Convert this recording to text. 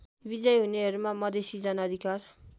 विजयी हुनेहरूमा मधेसी जनअधिकार